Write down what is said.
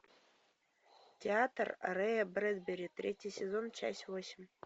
театр рэя брэдбери третий сезон часть восемь